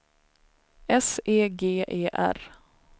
S E G E R